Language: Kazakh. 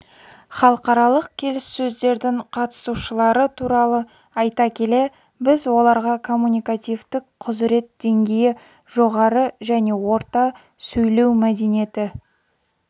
халықаралық келіссөздердің қатысушылары туралы айта келе біз оларға коммуникативтік құзырет деңгейі жоғары және орта сөйлеу мәдениеті